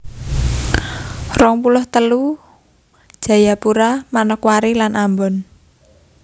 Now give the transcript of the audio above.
rong puluh telu Jayapura Manokwari lan Ambon